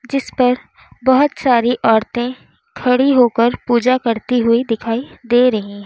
जिस पर बहोत सारी औरतें खड़ी होकर पूजा करती हुई दिखाई दे रही है।